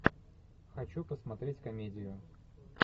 хочу посмотреть комедию